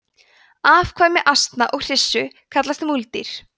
afkvæmi asna og hryssu kallast múldýr